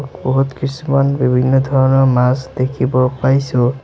বহুত কিছুমান বিভিন্ন ধৰণৰ মাছ দেখিব পাইছোঁ।